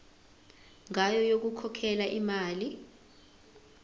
ngayo yokukhokhela imali